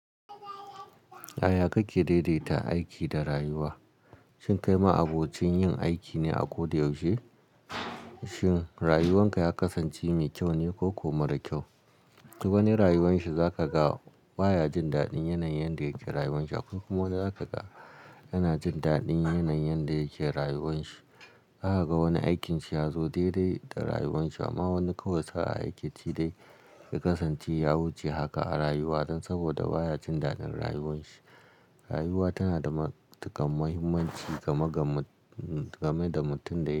A ya kake daidaita aiki da rayuwa? Shin kai ma'abocin yin aiki ne a ko da yaushe? Shin rayuwanka ya kasance mai kyau ne ko ko mara kyau? Duk wani rayuwan shi za ka ga baya jin daɗin yanayin da yake rayuwan shi akwai kuma wanda za ka ga yana jin daɗin yanayin da yake rayuwan shi. Za ka ga wani aikin shi ya zo daidai da rayuwan shi amma wani kawai sa'a aiki ci dai ya kasance yawuce haka a rayuwa dan saboda baya jin daɗin rayuwan shi. Rayuwa tana da matuƙar muhimmanci game da mutumin da yake.